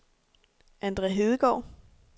Andre Hedegaard